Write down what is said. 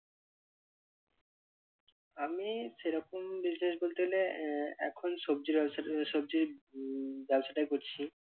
আমি সেরকম business বলতে গেলে আহ এখন সবজির ব্যবসাটা সবজির উম ব্যবসাটাই করছি।